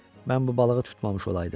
Mən bu balığı tutmamış olaydım.